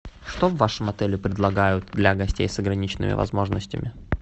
что в вашем отеле предлагают для гостей с ограниченными возможностями